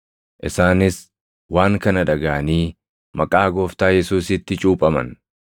Isaanis waan kana dhagaʼanii maqaa Gooftaa Yesuusitti cuuphaman.